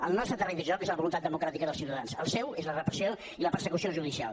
el nostre terreny de joc és la voluntat democràtica dels ciutadans el seu és la repressió i la persecució judicial